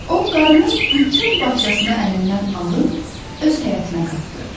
O qarının bütün bağçasını əlindən alıb öz həyətinə qatdı.